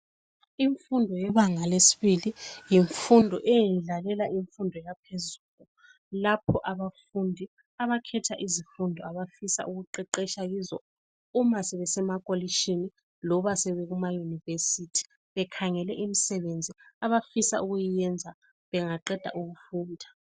Imfundo yebanga lesibili yimfundo eyendlalela imfundo yaphezulu, lapho abafundi abakhetha izifundo abafisa ukuqeqesha kizo uma sebesemakolishini, loba sebe kumaYunivesi bekhangele imisebenzi abafisa ukuyiyenza bengaqeda ukufunda.